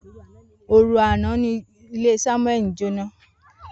Oru ana ni ile Samueli jona.